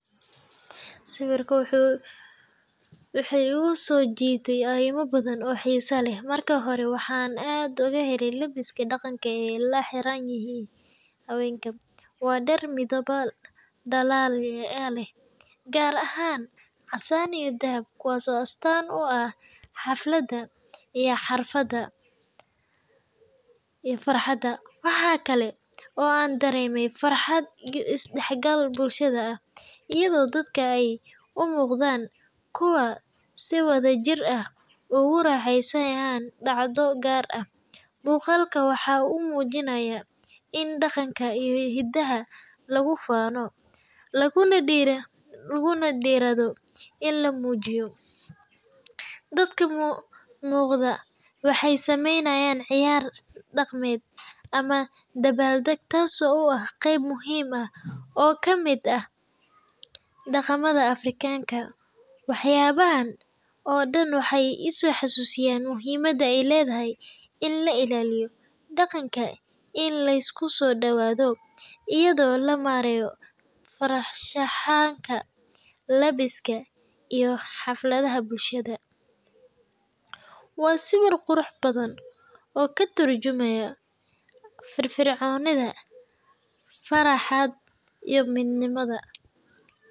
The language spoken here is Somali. Sawirka wuxuu iguso jidanaya wax yaba badan oo xisa leh, marka hore waxan aad oga hele labiska iyo daqanka ee la xiran yihin hawenka dar midabal dalal gar ahan casan iyo dahab, waxa kale oo an dareme farxaad iyo isdaxgal bulshaad, laguna diradho in la mujiyo, oo kamiid ah daqamaada afrikanka daqanka in lasku sosadawadho, waa sawir qurux badan oo ka turjumaya faraxa iyo miid nimaada.